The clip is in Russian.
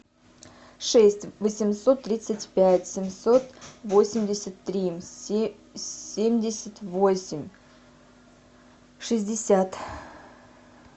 шесть восемьсот тридцать пять семьсот восемьдесят три семьдесят восемь шестьдесят